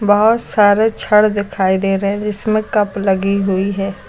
बहुत सारे छड़ दिखाई दे रहे हैं जिसमें कप लगी हुई है।